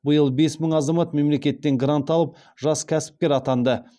биыл бес мың азамат мемлекеттен грант алып жас кәсіпкер атанды